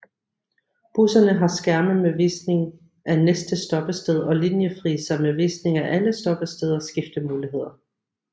Busserne har skærme med visning af næste stoppested og linjefriser med visning af alle stoppesteder og skiftemuligheder